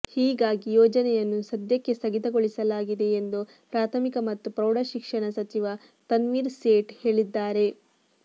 ಹೀಗಾಗಿ ಯೋಜನೆಯನ್ನು ಸದ್ಯಕ್ಕೆ ಸ್ಥಗಿತ ಗೊಳಿಸಲಾಗಿದೆ ಎಂದು ಪ್ರಾಥಮಿಕ ಮತ್ತು ಪ್ರೌಢ ಶಿಕ್ಷಣ ಸಚಿವ ತನ್ವಿರ್ ಸೇಠ್ ಹೇಳಿದ್ದಾರೆ